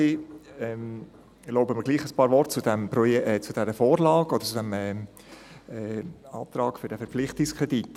Ich erlaube mir gleichwohl ein paar Worte zu dieser Vorlage oder zu diesem Antrag für einen Verpflichtungskredit.